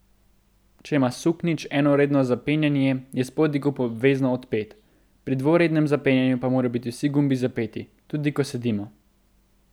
Če ima suknjič enoredno zapenjanje, je spodnji gumb obvezno odpet, pri dvorednem zapenjanju pa morajo biti vsi gumbi zapeti, tudi ko sedimo.